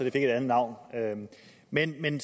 et andet navn men da den